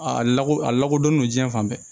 A lako a lakodɔnnen do diɲɛ fan bɛɛ